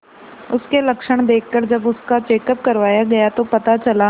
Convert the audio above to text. उसके लक्षण देखकरजब उसका चेकअप करवाया गया तो पता चला